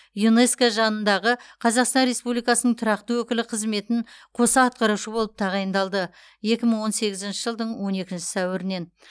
юнеско жанындағы қазақстан республикасының тұрақты өкілі қызметін қоса атқарушы болып тағайындалды екі мың он сегізінші жылдың он екінші сәуірінен